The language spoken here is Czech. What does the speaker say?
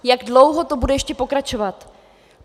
Jak dlouho to bude ještě pokračovat?